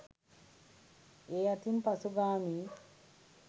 ඒ අතින් පසුගාමීයි.